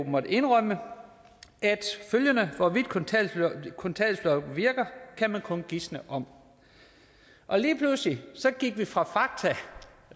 måttet indrømme følgende hvorvidt kontanthjælpsloftet virker kan man kun gisne om lige pludselig gik vi fra fakta